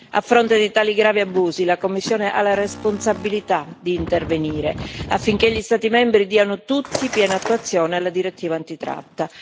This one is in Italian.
A fronte di tali gravi abusi la Commissione ha la responsabilità di intervenire, affinché gli Stati membri diano tutti piena attuazione alla direttiva antitratta.